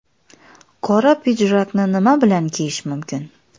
Qora pidjakni nima bilan kiyish mumkin?.